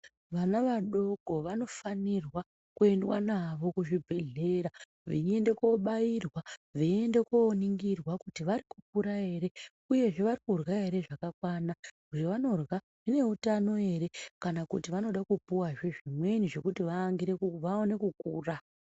Vana vadoko vanofanirwa kuendwa nawo kuzvibhedhlera veienda kobairwa veienda koningirwa kuti kukura ere uye vari kurya hezvakakwana zvavanorya zvine utano here kana kuti vanoda kupuwa hezvimweni zvekuti vaone kukura.